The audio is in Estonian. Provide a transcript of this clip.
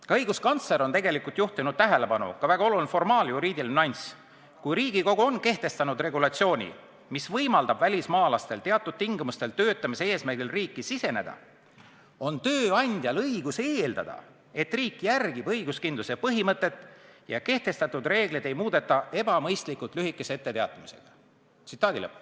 Ka õiguskantsler on juhtinud tähelepanu ühele väga olulisele formaal-juriidilisele nüansile: "Kui aga Riigikogu on kehtestanud regulatsiooni, mis võimaldab välismaalastel teatud tingimustel töötamise eesmärgil riiki siseneda, on ka tööandjal õigus eeldada, et riik järgib õiguskindluse põhimõtet ja kehtestatud reegleid ei muudeta ebamõistlikult lühikese etteteatamisajaga.